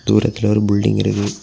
தூரத்துல ஒரு புல்டிங் இருக்குது.